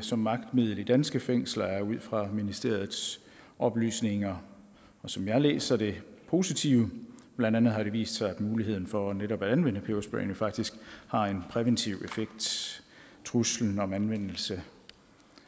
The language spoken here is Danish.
som magtmiddel i danske fængsler er ud fra ministeriets oplysninger som jeg læser det positive blandt andet har det vist sig at muligheden for netop at anvende peberspray faktisk har en præventiv effekt truslen om anvendelse